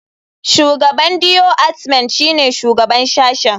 Shugaban deoartment shine shugaban sashen.